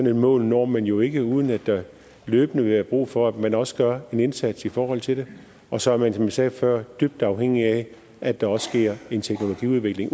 et mål når man jo ikke uden at der løbende vil være brug for at man også gør en indsats i forhold til det og så er man som jeg sagde før dybt afhængig af at der også sker en teknologiudvikling